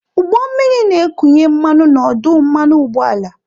Ụgbọ mmiri na-ekunye mmanụ na ọdụ mmanụ ụgbọala.